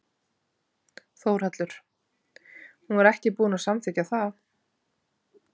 Þórhallur: Hún var ekki búin að samþykkja það?